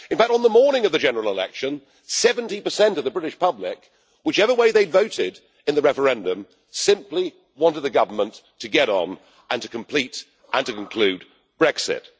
In fact, on the morning of the general election, 70 of the British public whichever way they had voted in the referendum simply wanted the government to get on and complete and conclude Brexit.